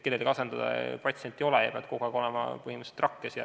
Kellelgi sind asendada ei ole võimalik ja põhimõtteliselt pead sa olema kogu aeg rakkes.